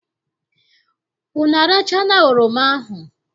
Unu arachala oroma ahụ?